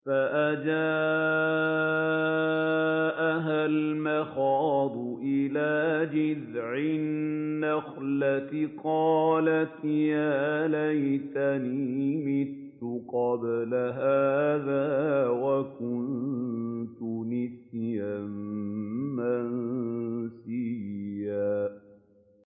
فَأَجَاءَهَا الْمَخَاضُ إِلَىٰ جِذْعِ النَّخْلَةِ قَالَتْ يَا لَيْتَنِي مِتُّ قَبْلَ هَٰذَا وَكُنتُ نَسْيًا مَّنسِيًّا